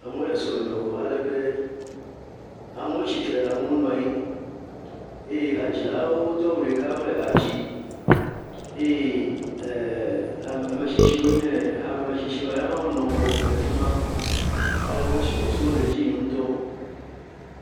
Amewo le sɔlime wɔm alebe amewo tsitre, amewo nɔ anyi eye hadzilawo Do awu ɖeka wòle hã dzim eye e e ame tsitsiwo nye hame metsitsiwoa, ya hã wò nɔ ŋgɔgbe le afima alebe subɔsubɔ le dzi yim ŋɔtɔ.